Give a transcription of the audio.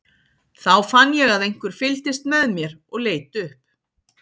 Þá fann ég að einhver fylgdist með mér og leit upp.